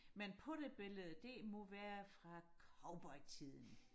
men på det billede det må være fra cowboytiden